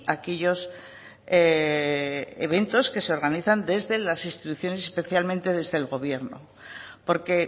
aquellos eventos que se organizan desde las instituciones especialmente desde el gobierno porque